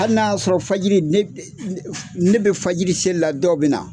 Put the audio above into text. Hali n'a y'a sɔrɔ fajiri ne bɛ fajiri seli la dɔw bɛ na.